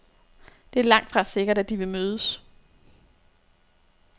Det er langtfra sikkert, at de vil mødes.